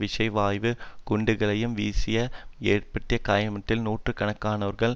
விஷ வாயு குண்டுகளையும் வீசியது என்றும் காயம்பட்டவர்களில் நூற்றுக்கணக்கானவர்களை